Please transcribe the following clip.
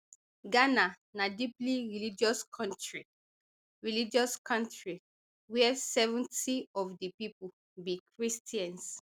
ghana na deeply religious kontri religious kontri wia seventy of di pipo be christians